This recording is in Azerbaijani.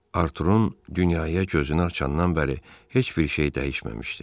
Arturunun dünyaya gözünü açandan bəri heç bir şey dəyişməmişdi.